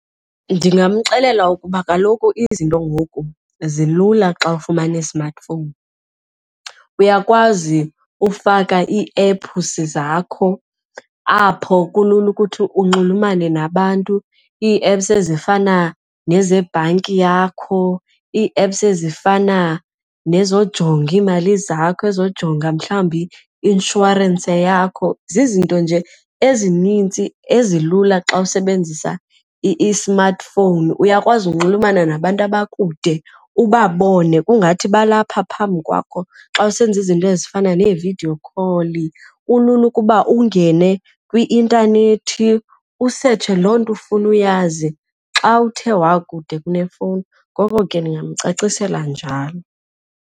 Ndingamxelela ukuba kaloku izinto ngoku zilula xa ufumana i-smartphone. Uyakwazi ufaka iiephusi zakho apho kulula ukuthi unxulumane nabantu ii-apps ezifana nezebhanki yakho, ii-apps ezifana nezojonga iimali zakho ezojonga mhlawumbi imishwarense yakho. Zizinto nje ezinintsi ezilula xa usebenzisa i-smartphone. Uyakwazi unxulumana nabantu abakude ubabone kungathi balapha phambi kwakho xa usenza izinto ezifana nee-video call. Kulula ukuba ungene kwi-intanethi usetshe loo nto ifuna uyazi xa uthe wakude kunefowuni, ngoko ke ndingamcacisela njalo futhi.